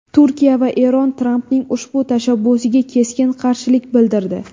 Turkiya va Eron Trampning ushbu tashabbusiga keskin qarshilik bildirdi .